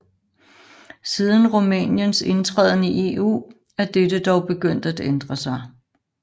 Siden Rumæniens indtræden i EU er dette dog begyndt at ændre sig